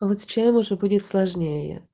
а вот с чаем уже будет сложнее